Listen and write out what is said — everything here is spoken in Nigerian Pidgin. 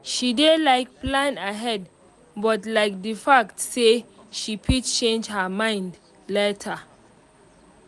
she dey like plan ahead but like the fact say she fit change her mind later